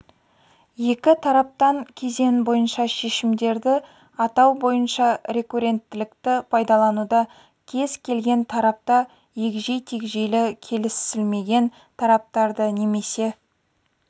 екі тараптан кезең бойынша шешімдерді атау бойынша рекурренттілікті пайдалануда кез келген тарапта егжей-тегжейлі келісілмеген тараптарды немесе